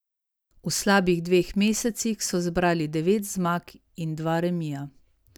V slabih dveh mesecih so zbrali devet zmag in dva remija.